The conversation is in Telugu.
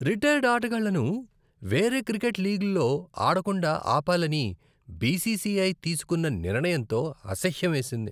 రిటైర్డ్ ఆటగాళ్లను వేరే క్రికెట్ లీగ్లలో ఆడకుండా ఆపాలని బీసీసీఐ తీసుకున్న నిర్ణయంతో అసహ్యమేసింది.